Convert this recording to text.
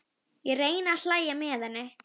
Ég reyni að hlæja með henni.